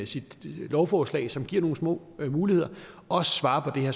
sit lovforslag som giver nogle små muligheder også svarer